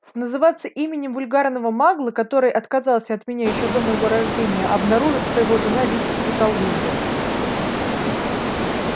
называться именем вульгарного магла который отказался от меня ещё до моего рождения обнаружив что его жена видите ли колдунья